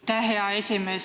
Aitäh, hea esimees!